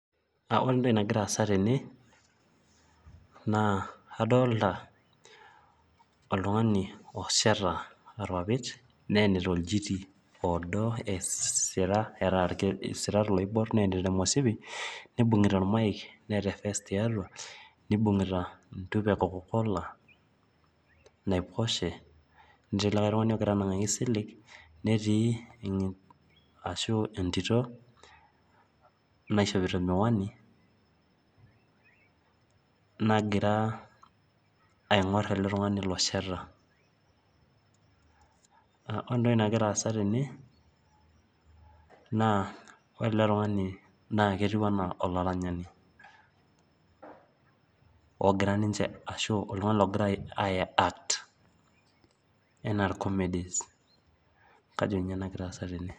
Ore entoki aasa tene, naa adolta oltung'ani osheta irpapit neyenita olchiti odo esira eeta isirat oibor neyenita omushipi, nibung'ita ormaik neeta efes tiatua, nibung'ita entupa e Coca-Cola, naiposhe. Netii likae tung'ani ogira anang'aki silig, netii ashu entito naishopito miwani, nagira aing'or ele tung'ani losheta. Ore entoki nagira aasa tene, naa ore ele tung'ani naketiu enaa olaranyani, ogira ninche ashu oltung'ani logira ai act ,enaa irkomedis. Kajo nye nagira aasa tene.